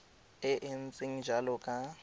e e ntseng jalo ka